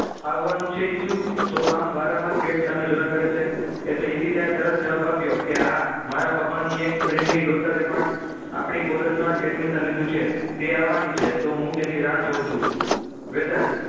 આવવાનું છે ઈશુ તો આમ વારંવાર gate સામે જોયા કરે છે એટલે ઈશિતાએ તરત જવાબ આપ્યો કે હા મારા પપ્પાની એક friend ની daughter પણ આપણી college માં જ admission લીધું છે તે આવવાની છે તો હું તેની રાહ જોઉં છું વેદાંત